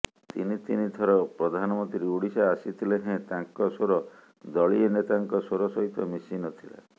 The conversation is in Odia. ତିନି ତିନି ଥର ପ୍ରଧାନମନ୍ତ୍ରୀ ଓଡ଼ିଶା ଆସିଥିଲେ େହଁ ତାଙ୍କ ସ୍ବର ଦଳୀୟ େନତାଙ୍କ ସ୍ବର ସହିତ ମିଶିନଥିଲା